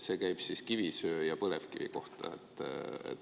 See käib siis kivisöe ja põlevkivi kohta.